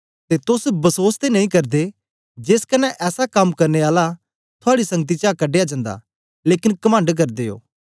ते तोस बसोस ते नेई करदे जेस कन्ने ऐसा कम करने आला थुआड़ी संगति चा कढया जंदा लेकन कमंड करदे ओ